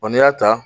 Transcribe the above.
n'i y'a ta